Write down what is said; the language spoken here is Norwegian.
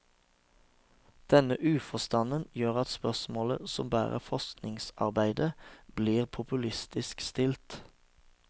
Denne uforstanden gjør at spørsmålet som bærer forskningsarbeidet, blir populistisk stilt.